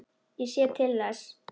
Ég sé til þess.